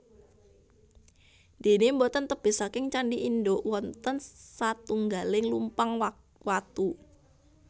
Déné boten tebih saking candhi induk wonten satunggaling lumpang watu